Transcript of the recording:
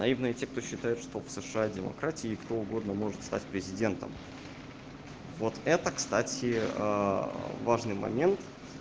наивные те кто считает что сша демократия и кто угодно может стать президентом вот это кстати важный момент